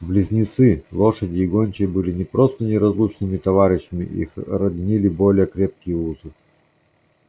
близнецы лошади и гончие были не просто неразлучными товарищами их роднили более крепкие узы